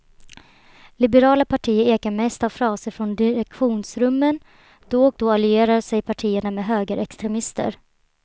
Liberala partier ekar mest av fraser från direktionsrummen, då och då allierar sig partierna med högerextremister.